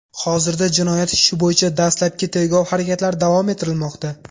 Hozirda jinoyat ishi bo‘yicha dastlabki tergov harakatlari davom ettirilmoqda.